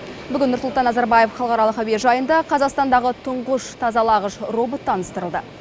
бүгін нұрсұлтан назарбаев халықаралық әуежайында қазақстандағы тұңғыш тазалағыш робот таныстырылды